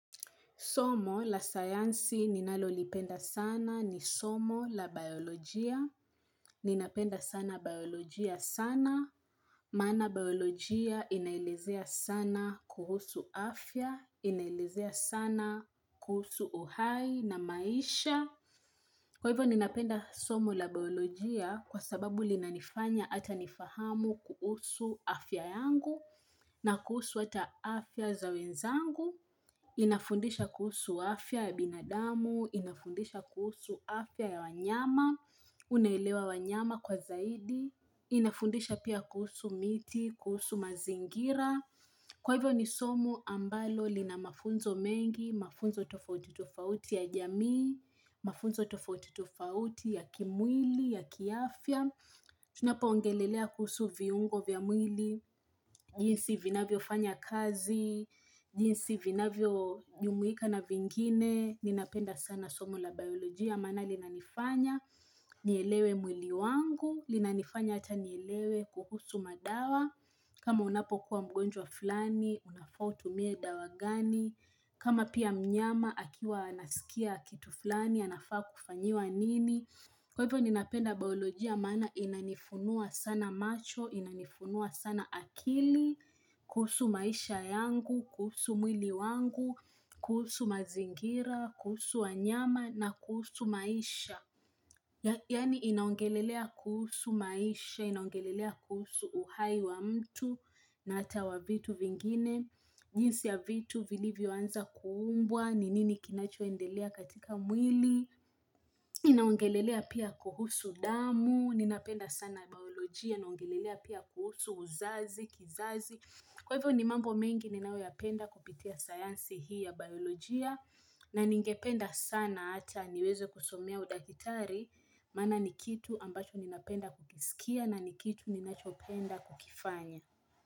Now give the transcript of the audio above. Somo la sayansi ninalolipenda sana ni somo la biolojia. Ninapenda sana biolojia sana. Maana biolojia inaelezea sana kuhusu afya. Inaelezea sana kuhusu uhai na maisha. Kwa hivyo ninapenda somo la biolojia kwa sababu linanifanya hata nifahamu kuhusu afya yangu na kuhusu hata afya za wenzangu. Inafundisha kuhusu afya ya binadamu, inafundisha kuhusu afya ya wanyama, unaelewa wanyama kwa zaidi, inafundisha pia kuhusu miti, kuhusu mazingira. Kwa hivyo ni somo ambalo lina mafunzo mengi, mafunzo tofauti tofauti ya jamii, mafunzo tofauti tofauti ya kimwili, ya kiafya. Tunapoongelelea kuhusu viungo vya mwili, jinsi vinavyofanya kazi, jinsi vinavyojumuika na vingine, ninapenda sana somo la biolojia. Maana linanifanya nielewe mwili wangu, linanifanya hata nielewe kuhusu madawa, kama unapokuwa mgonjwa fulani, unafaa utumie dawa gani, kama pia mnyama akiwa anasikia kitu fulani anafaa kufanyiwa nini. Kwa hivyo ninapenda biolojia maana inanifunua sana macho, inanifunua sana akili, kuhusu maisha yangu, kuhusu mwili wangu, kuhusu mazingira, kuhusu wanyama na kuhusu maisha. Yaani inaongelelea kuhusu maisha, inaongelelea kuhusu uhai wa mtu na hata wa vitu vingine, jinsi ya vitu vilivyoanza kuumbwa, ni nini kinachoendelea katika mwili, inaongelelea pia kuhusu damu, ninapenda sana biolojia inaongelelea pia kuhusu uzazi, kizazi. Kwa hivyo ni mambo mengi ninayoyapenda kupitia sayansi hii ya biolojia na ningependa sana hata niweze kusomea udakitari maana ni kitu ambacho ninapenda kukiskia na ni kitu ninachopenda kukifanya.